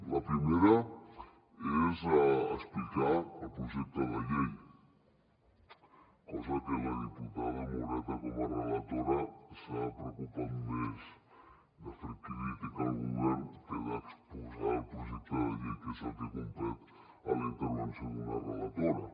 la primera és explicar el projecte de llei cosa que la diputada moreta com a relatora s’ha preocupat més de fer crítica al govern que d’exposar el projecte de llei que és el que competeix a la intervenció d’una relatora